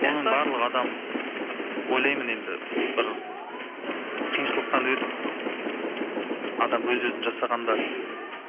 оның барлығы адам ойлаймын енді бір қиыншылықтан өтіп адам өз өзін жасағанда